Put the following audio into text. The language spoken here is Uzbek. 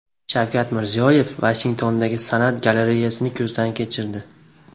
Shavkat Mirziyoyev Vashingtondagi san’at galereyasini ko‘zdan kechirdi.